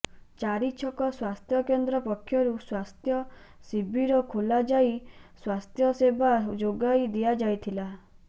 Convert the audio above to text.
ଚାରିଛକ ସ୍ୱାସ୍ଥ୍ୟକେନ୍ଦ୍ର ପକ୍ଷରୁ ସ୍ୱାସ୍ଥ୍ୟ ଶିବିର ଖୋଲାଯାଇ ସ୍ୱାସ୍ଥ୍ୟସେବା ଯୋଗାଇ ଦିଆଯାଇଥିଲା